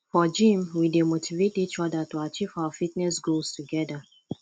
for gym we dey motivate each other to achieve our fitness goals together